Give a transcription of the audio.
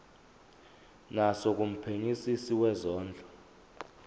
naso kumphenyisisi wezondlo